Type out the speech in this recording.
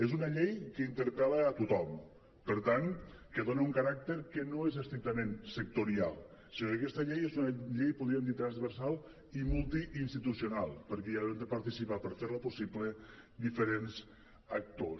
és una llei que interpel·la a tothom per tant que dona un caràcter que no és estrictament sectorial sinó que aquesta llei és una llei podríem dir transversal i multi institucional perquè hi han de participar per fer la possible diferents actors